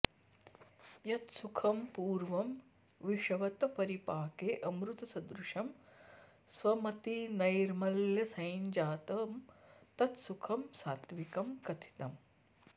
यत् सुखं पूर्वं विषवत् परिपाके अमृतसदृशं स्वमतिनैर्मल्यसञ्जातं तत् सुखं सात्त्विकं कथितम्